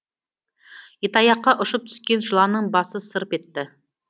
итаяққа ұшып түскен жыланның басы сырп етті